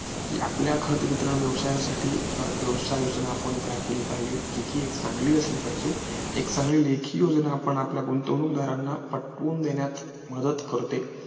कि आपल्या खत वितरण व्यवसायासाठी व्यवसाय योजना आपण तयार केली पाहिजे जी कि एक चांगली असली पाहिजे एक चान्गली लेखी योजना आपण आपल्या गुंतवणूकदाराना पटवून देण्यात मदत करते